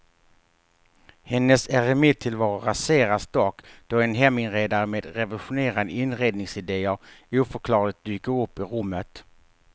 Hennes eremittillvaro raseras dock då en heminredare med revolutionerande inredningsidéer oförklarligt dyker upp i rummet.